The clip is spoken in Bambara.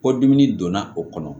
Kɔdimi donna o kɔnɔ